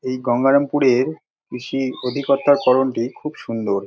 এই গঙ্গারামপুরের কৃষি অধিকর্তাকরণটি খুব সুন্দর।